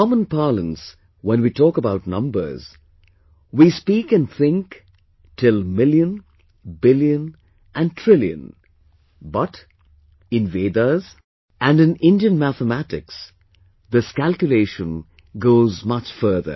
In common parlance, when we talk about numbers and numbers, we speak and think till million, billion and trillion, but, in Vedas and in Indian mathematics, this calculation goes much further